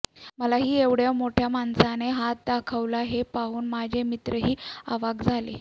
मलाही एवढ्या मोठ्या माणसाने हात दाखवला हे पाहून माझे मित्रही अवाक् झाले